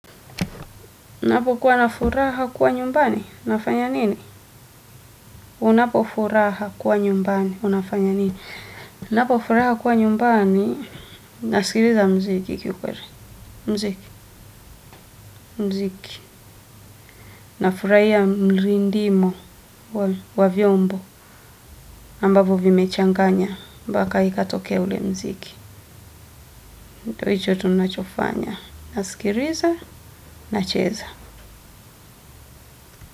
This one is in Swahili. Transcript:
Unapokuws na furaha kuwa nyumbani, unafanya nini? Unapo furaha kuwa nyumbani, nasikirila mziki kikweli nafurahia mrindimo wa vyombo, ambavo vimechanganya, mpaka ikatokea ule mziki. Ndyo hicho tunachofanya. Nasikirila, nacheza.